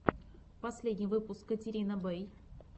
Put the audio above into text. последний выпуск катерина бэй